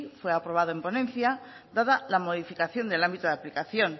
fue aprobado en ponencia dada la modificación del ámbito de aplicación